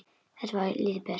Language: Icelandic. Þetta er lítill bær.